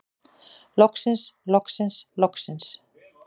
Loksins loksins loksins.